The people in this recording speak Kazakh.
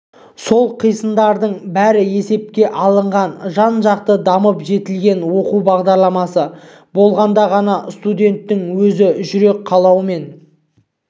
сол қисындардың бәрі есепке алынған жан-жақты дамып жетілген оқу бағдарламасы болғанда ғана студенттің өз жүрек қалауымен